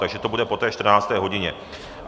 Takže to bude po té 14. hodině.